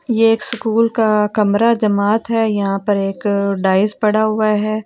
ये एक सुकूल का कमरा जमात है यहाँ पर एक डाइस पड़ा हुआ है ।